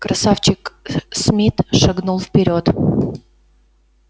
красавчик смит шагнул вперёд